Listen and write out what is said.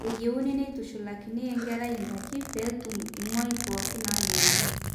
eyieuni neitushulakini enkerai indaiki pee etum imuai pooki naayieuni